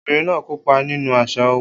Obìnrin náà kópa nínú àṣà owó.